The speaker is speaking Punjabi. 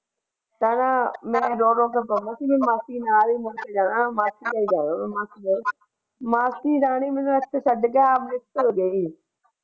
ਮਾਸੀ ਦੇ ਨਾਲ ਹੀ ਜਾਣਾ ਮਾਸੀ ਕੋਲ ਹੀ ਜਾਣਾ ਮਾਸੀ ਰਾਣੀ ਤਾਂ ਅੰਮ੍ਰਿਤ ਭੋਜਨ ਹੀ ਹੈ।